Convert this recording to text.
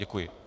Děkuji.